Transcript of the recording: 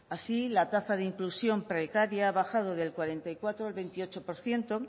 así la tasa de inclusión precaria ha bajado del cuarenta y cuatro al veintiocho por ciento